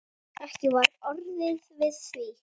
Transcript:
Ekki var orðið við því.